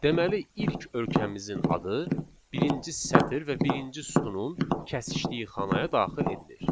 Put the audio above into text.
Deməli ilk ölkəmizin adı birinci sətr və birinci sütunun kəsişdiyi xanaya daxil edilir.